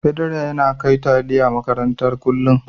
Pedro yana kai taliya makaranta kullu